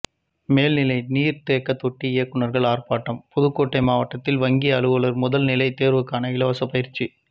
மேல்நிலை நீர் தேக்க தொட்டி இயக்குனர்கள் ஆர்ப்பாட்டம் புதுக்கோட்டை மாவட்டத்தில் வங்கி அலுவலர் முதல்நிலை தேர்வுக்கான இலவச பயிற்சி